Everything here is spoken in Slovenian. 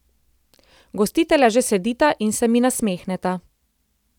Gostitelja že sedita in se mi nasmehneta.